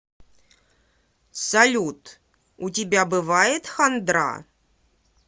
салют у тебя бывает хандра